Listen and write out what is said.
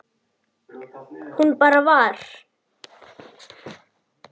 Hún bara var.